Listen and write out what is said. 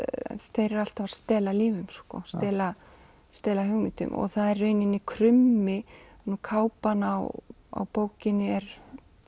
þeir eru alltaf að stela lífum stela stela hugmyndum og það er í rauninni krummi kápan á á bókinni er